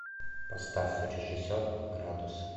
поставь режиссер градусы